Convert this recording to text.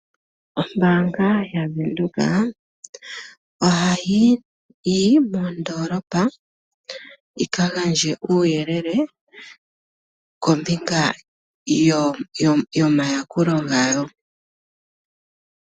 Ombaanga yaVenduka ohayi yo moondolopa yika gandje uuyelele kombinga yomayakulo gayo.